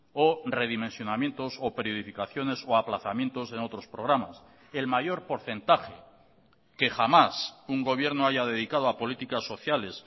o redimensionamientos o periodificaciones o aplazamientos en otros programas el mayor porcentaje que jamás un gobierno haya dedicado a políticas sociales